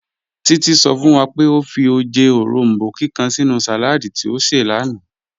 Títí sọ̀ fún wà pé ọ fì ojẹ́ orombó kíkan sínú saládì tí ọ ṣẹ̀ lánà